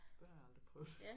Det har jeg aldrig prøvet